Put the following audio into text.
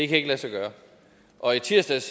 kan lade sig gøre og i tirsdags